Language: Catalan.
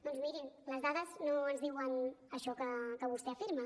doncs mirin les dades no ens diuen això que vostè afirma